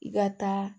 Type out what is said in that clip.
I ka taa